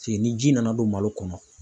Se ni ji nana don malo kɔnɔ.